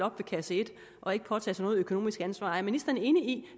op ved kasse et og ikke påtager sig noget økonomisk ansvar er ministeren enig i